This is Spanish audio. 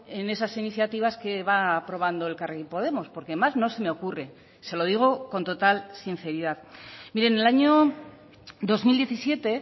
en esas iniciativas que va aprobando elkarrekin podemos porque más no se me ocurre se lo digo con total sinceridad mire en el año dos mil diecisiete